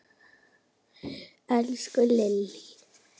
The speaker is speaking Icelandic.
Elsku Lillý!